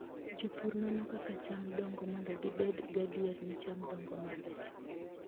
Jopur nono kaka cham dongo mondo gibed gadier ni cham dongo maber.